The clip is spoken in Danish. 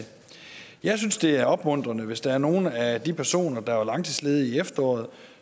jeg synes det er opmuntrende hvis der er nogle af de personer der var langtidsledige i efteråret